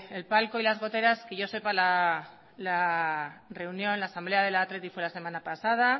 el palco y las goteras que yo sepa la asamblea del athletic fue la semana pasada